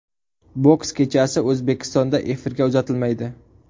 Boks kechasi O‘zbekistonda efirga uzatilmaydi.